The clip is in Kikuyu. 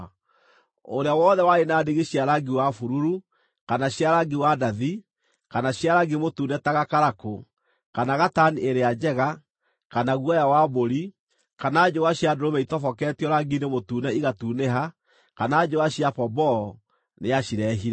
Ũrĩa wothe warĩ na ndigi cia rangi wa bururu, kana cia rangi wa ndathi, kana cia rangi mũtune ta gakarakũ, kana gatani ĩrĩa njega, kana guoya wa mbũri, kana njũa cia ndũrũme itoboketio rangi-inĩ mũtune igatunĩha, kana njũa cia pomboo, nĩacireehire.